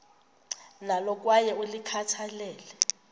nalo kwaye ulikhathalele